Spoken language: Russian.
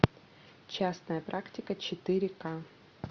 частная практика четыре ка